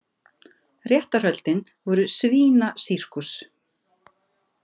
Réttarhöldin voru svínasírkus.